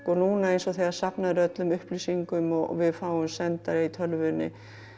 núna eins og þegar safnað er öllum upplýsingum og við fáum sendar í tölvunni